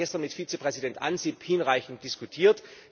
Darüber haben wir gestern mit Vizepräsident Ansip hinreichend diskutiert.